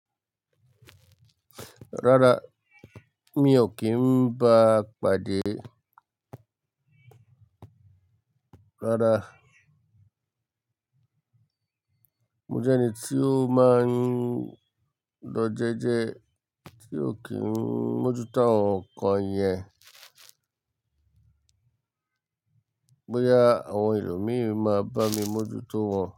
Rárá, mi ò kí ń bá a pàdé. Rárá, mo jẹ́ ẹni tí ó máa ń lọ jẹ́ẹ́jẹ́ẹ́, tí ò kí ń mójútó àwọn nǹkan yẹn. Bóyá àwọn ẹlòmíì máa bá mi mójútó wọn.